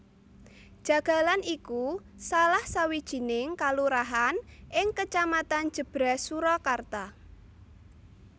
Jagalan iku salah sawijining kalurahan ing Kecamatan Jèbrès Surakarta